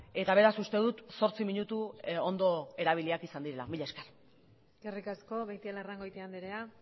eta beraz uste dut zortzi minutu ondo erabiliak izan direla mila esker eskerrik asko beitialarrangoitia andrea